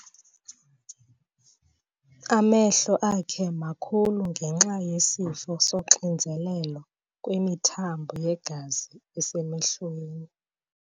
Amehlo akhe makhulu ngenxa yesifo soxinzelelo kwimithambo yegazi esemehlweni.